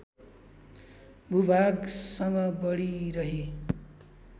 भूभागसँग बढीरही